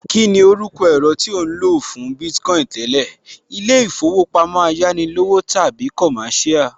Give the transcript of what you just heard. Kíni orúkọ èro tí ò ń lò láti fún Bitcoin tẹ́lẹ̀? Ilé ìfowópamọ́ Ayánilówó tàbí Commercial?